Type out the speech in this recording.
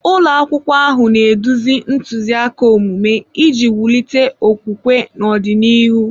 Ụlọ akwụkwọ ahụ na-eduzi ntụziaka omume iji wulite okwukwe n'ọdịnihu.